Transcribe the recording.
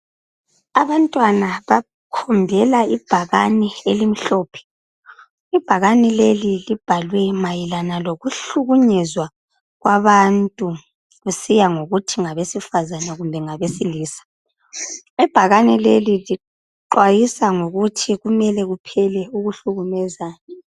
Abantwana bakhombela ibhakani elimhlophe. Ibhakani leli libhalwe mayelana ngokuhlukunyezwa kwabantu kusiya ngokuthi ngabesifazane kumbe ngabesilisa. Ibhakani leli lixwayisa ngokuthi kumele kuphele ukuhlukumezana.